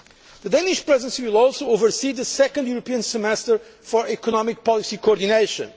The Danish Presidency will also oversee the second European Semester for Economic Policy Coordination.